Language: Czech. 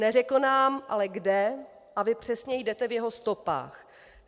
Neřekl nám ale kde a vy přesně jdete v jeho stopách.